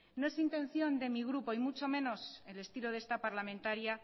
no es intención de mi grupo y mucho menos el estilo de esta parlamentaria